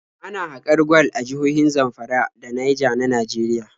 Ana haƙar gwal a jihohin Zamfara da Naija na Nageriya.